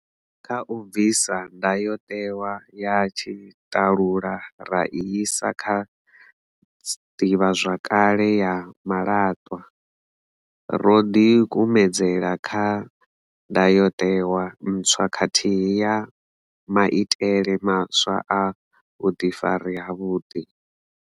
Kha u bvisa ndayotewa ya tshiṱalula ra i isa kha ḓivhazwakale ya malaṱwa, ro ḓikumedzela kha ndayotewa ntswa khathihi na maitele maswa a vhuḓifari havhuḓi.